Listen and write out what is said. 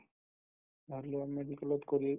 matlab medical ত কৰি